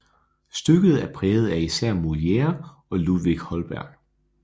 Stykket er præget af især Molière og Ludvig Holberg